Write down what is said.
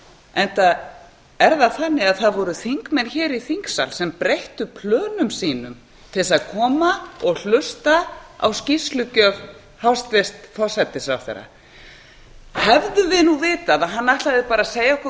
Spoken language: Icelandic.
enda voru þingmenn í þingsal sem breyttu plönum sínum til að koma og hlusta á skýrslugjöf hæstvirts forsætisráðherra hefðum við vitað að hann ætlaði bara að segja okkur hvað